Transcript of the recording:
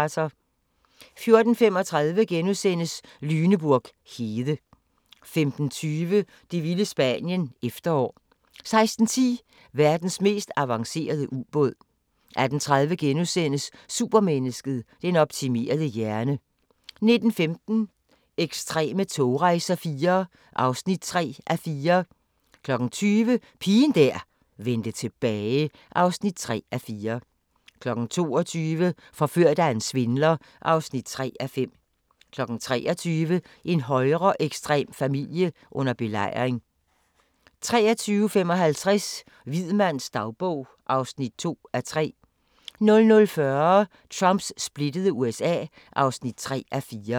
14:35: Lüneburg hede * 15:20: Det vilde Spanien – Efterår 16:10: Verdens mest avancerede ubåd 18:30: Supermennesket: Den optimerede hjerne * 19:15: Ekstreme togrejser IV (3:4) 20:00: Pigen der vendte tilbage (3:4) 22:00: Forført af en svindler (3:5) 23:00: En højreekstrem familie under belejring 23:55: Hvid mands dagbog (2:3) 00:40: Trumps splittede USA (3:4)